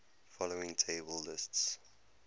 following table lists